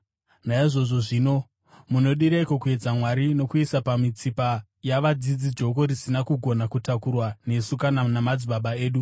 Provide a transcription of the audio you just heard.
Naizvozvo zvino, munodireiko kuedza Mwari nokuisa pamitsipa yavadzidzi joko risina kugona kutakurwa nesu kana namadzibaba edu?